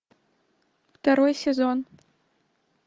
второй сезон